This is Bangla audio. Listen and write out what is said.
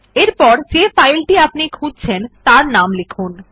এখানে যে ফাইল টি আপনি খুঁজছেন তার নাম লিখুন